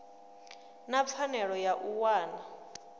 na pfanelo ya u wana